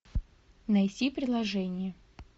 найти приложение